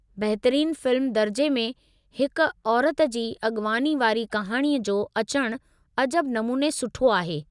बहितरीन फ़िल्म दर्जे में हिकु औरति जी अगि॒वाणी वारी कहाणी जो अचणु अजब नमूने सुठो आहे।